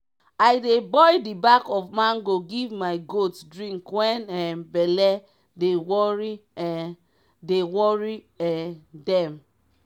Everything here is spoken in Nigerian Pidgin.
i dey boil d back of mango give my goat drink wen um belle dey wori um dey wori um dem.